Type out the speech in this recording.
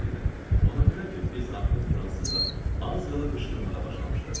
Ona görə ki, biz artıq fransızla az qala qışqırmağa başlamışdıq.